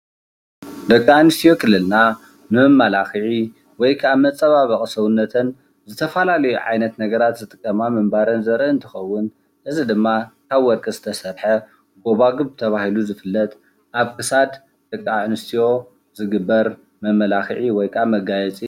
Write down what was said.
ደቂ ኣንስትዮ ክልልና ንመመላክዒ ወይ ከዓ መፀባበቒ ሰውነተን ዝተፈላለዩ ዓይነት ነገራት ዝጥቀማ ምንባረን ዘርኢ እንትኸውን እዚ ድማ ካብ ወርቂ ዝተሰርሐ ጎባጒብ ተባሂሉ ዝፍለጥ ኣብ ክሳድ ደቂ ኣንስትዮ ዝግበር መመላኽዒ ወይ ድማ መጋየፂ